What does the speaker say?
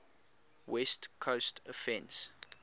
west coast offense